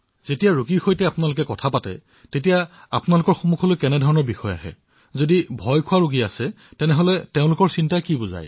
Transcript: তেন্তে যেতিয়া আপুনি কথা পাতে সামূহিক ভাৱে কি প্ৰত্যক্ষ কৰে আতংকিত লোকে কি কথাক লৈ উদ্বিগ্ন হয়